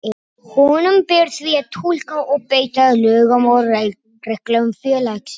Honum ber því að túlka og beita lögum og reglum félagsins.